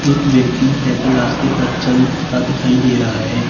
एक व्यक्ति पैदल रास्ते पर चलता दिखाई दे रहा है।